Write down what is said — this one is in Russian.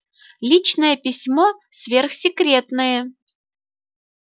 личное письмо сверхсекретное